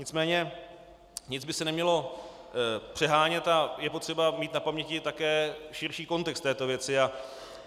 Nicméně nic by se nemělo přehánět a je potřeba mít na paměti také širší kontext této věci.